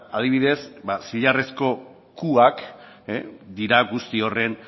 adibidez zilarrezko qak dira guzti horren